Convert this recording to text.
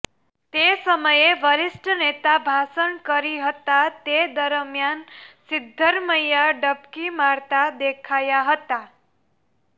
તે સમયે વરિષ્ઠ નેતા ભાષણ કરી હતા તે દરમિયાન સિદ્ધરમૈયા ડબકી મારતા દેખાયા હતા